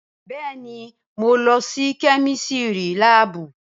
Bẹẹní, mo ló sí kẹmísìrí làbú.